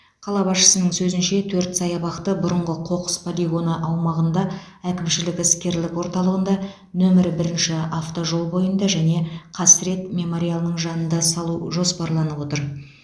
қала басшысының сөзінше төрт саябақты бұрынғы қоқыс полигоны аумағында әкімшілік іскерлік орталығында нөмірі бірінші автожол бойында және қасірет мемориалының жанында салу жоспарланып отыр